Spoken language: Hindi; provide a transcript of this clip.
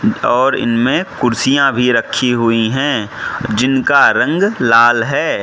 और इनमें कुर्सियां भी रखी हुई हैं जिनका रंग लाल है।